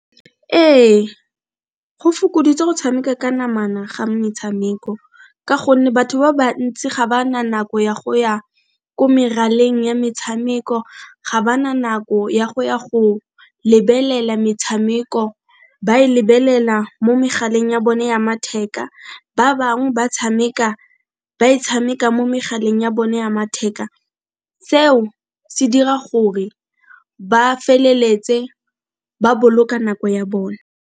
Ee, go fokoditse go tshameka ka namana ga metshameko ka gonne batho ba bantsi ga ba na nako ya go ya ko meraleng ya metshameko ga ba na nako ya go ya go lebelela metshameko, ba e lebelela mo megaleng ya bone ya matheka, ba bang ba tshameka, ba e tshameka mo megaleng ya bone ya matheka. Seo se dira gore ba feleletse ba boloka nako ya bone.